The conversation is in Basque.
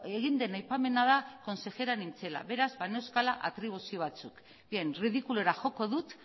egin den aipamena da konsejera nintzela beraz baneuzkala atribuzio batzuk bien ridikulura joko dut